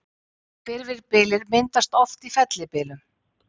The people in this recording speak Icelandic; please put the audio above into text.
Hvirfilbyljir myndast oft í fellibyljum.